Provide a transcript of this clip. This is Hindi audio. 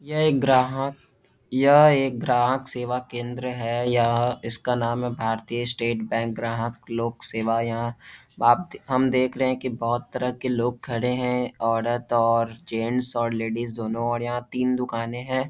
यह एक ग्राहक यह एक ग्राहक सेवा केंद्र है यह इसका नाम है भारतीय स्टेट बैंक ग्राहक लोक सेवा यहाँ आप हम देख रहे है की बहोत तरह के लोग खड़े हैं औरत और जेंट्स और लेडिज दोनो यहां तीन दुकाने हैं।